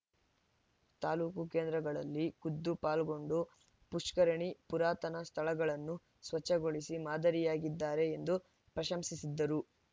ತಾಲೂಕು ಕೇಂದ್ರಗಳಲ್ಲಿ ಖುದ್ದು ಪಾಲ್ಗೊಂಡು ಪುಷ್ಕರಣಿ ಪುರಾತನ ಸ್ಥಳಗಳನ್ನು ಸ್ವಚ್ಛಗೊಳಿಸಿ ಮಾದರಿಯಾಗಿದ್ದಾರೆ ಎಂದು ಪ್ರಶಂಸಿಸಿದರು